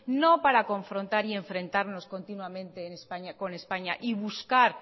no para confrontar y enfrentarnos continuamente con españa y buscar